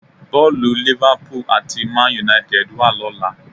Bọ́ọ̀lù Liverpool àti Man Utd wà lọ́la